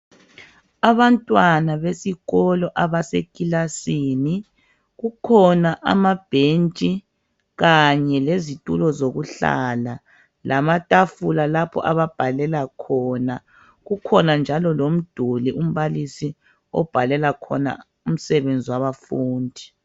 Abantwana besikolo abasekilasini ,kukhona amabhentshi kanye lezitulo zokuhlala lamatafula lapho ababhalela khona. Kukhona njalo lomduli umbalisi obhalela khona umsebenzi wabafundi.